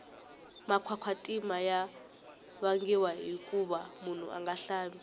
makwakwatima ya vangiwa hikuva munhu anga hlambi